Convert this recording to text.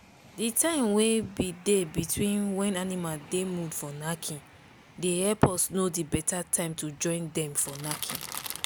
the time wey been dey between when animal dey mood for knacking dey help us know the betta time to join dem for knacking.